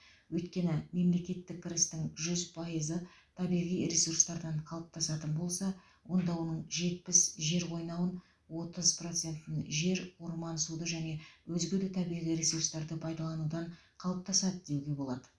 өйткені мемлекеттік кірістің жүз пайызы табиғи ресурстардан қалыптасатын болса онда оның жетпіс жер қойнауын отыз процентін жер орман суды және өзге де табиғи ресурстарды пайдаланудан қалыптасады деуге болады